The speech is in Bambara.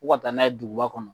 Ko ka taa n'a ye duguba kɔnɔ.